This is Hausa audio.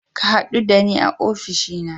Ka hadu da ni a ofishina.